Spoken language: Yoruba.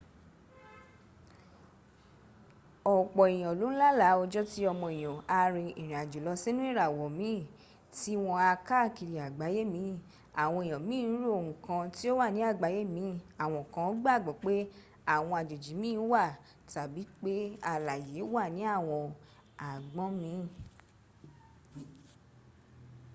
ọ̀pọ̀ èyàn ló n lálàá ọjọ́ tí ọmọ èyàn á rin ìrìn àjò lọ sínú ìràwọ̀ mín tí wọn á káàkiri agbaye mín àwọn èyàn mín ń ro nkan tí ó wà ní agbaye mín àwọn kan gbàgbọ́ pé àwọn àjòjì mín wà tàbí pé alàyè wà ní àwọn agbọn mín